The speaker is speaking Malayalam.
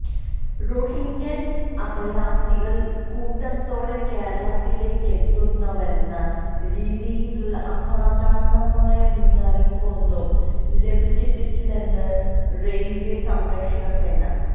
റോഹിങ്ക്യന് അഭയാര്ത്ഥികള് കൂട്ടത്തോടെ കേരളത്തിലേക്കെത്തുന്നുവെന്ന രീതിയിലുള്ള അസാധാരണമായ മുന്നറിയിപ്പൊന്നും ലഭിച്ചിട്ടില്ലെന്ന് റെയില്വേ സംരക്ഷണ സേന